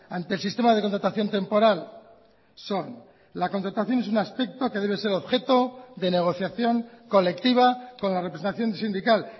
ante el sistema de contratación temporal son la contratación es un aspecto que debe ser objeto de negociación colectiva con la representación sindical